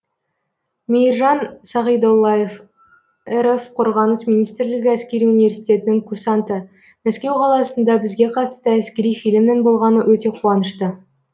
мейіржан сағидоллаев ресей федерациясы қорғаныс министрлігі әскери университетінің курсанты мәскеу қаласында бізге қатысты әскери фильмнің болғаны өте қуанышты